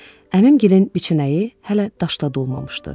Əmim gilən biçənəyi hələ daşla dolmamışdı.